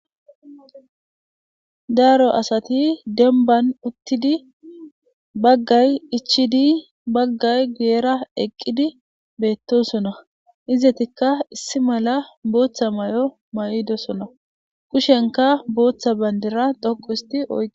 daaro asati demban uttidi baggay ichidi baggay guyera eqqidi beettosona izetikka issi mala booththa may7o ma7idosona kushenka booththa bandira dhoqu histi o